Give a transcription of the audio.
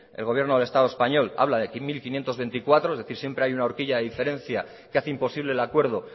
el gobierno del estado español habla de mil quinientos veinticuatro es decir siempre hay una orquilla de diferencia que hace imposible el acuerdo